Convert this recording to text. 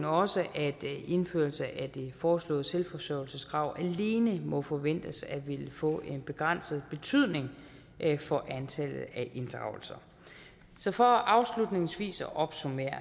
også at en indførelse af det foreslåede selvforsørgelseskrav alene må forventes at ville få en begrænset betydning for antallet af inddragelser så for afslutningsvis at opsummere